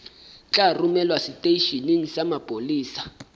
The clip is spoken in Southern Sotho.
tla romelwa seteisheneng sa mapolesa